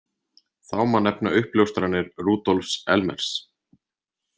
Þá má nefna uppljóstranir Rudolfs Elmers.